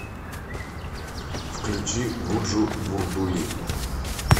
включи гуджу бурдули